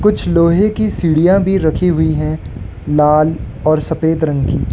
कुछ लोहे की सीढ़ियां भी रखी हुई हैं लाल और सफेद रंग की।